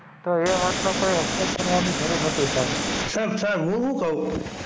તો એ વાત નો કોઈં અફસોસ કરવાનું જરૂર નથી સાહેબ સાહેબ હું હું કવ,